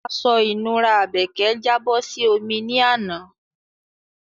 Aṣọ ìnura Àbèkẹ́ jábọ́ sí omi ní àná